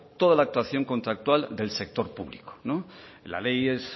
toda la actuación contractual del sector público la ley es